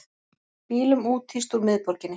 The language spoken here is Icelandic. Bílum úthýst úr miðborginni